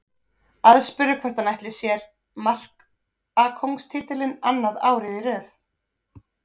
Aðspurður hvort hann ætli sér markakóngstitilinn annað árið í röð.